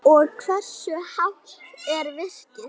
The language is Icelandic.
Og hversu hátt er virkið?